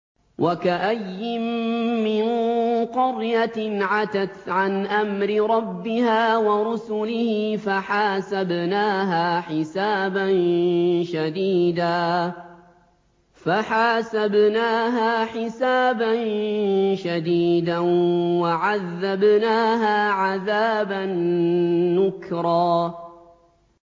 وَكَأَيِّن مِّن قَرْيَةٍ عَتَتْ عَنْ أَمْرِ رَبِّهَا وَرُسُلِهِ فَحَاسَبْنَاهَا حِسَابًا شَدِيدًا وَعَذَّبْنَاهَا عَذَابًا نُّكْرًا